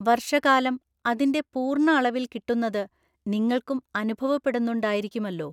വര്‍ഷകാലം അതിന്‍റെ പൂര്‍ണ്ണ അളവില്‍ കിട്ടുന്നത് നിങ്ങള്‍ക്കും അുനുഭവപ്പെടുന്നുണ്ടായിരിക്കുമല്ലോ.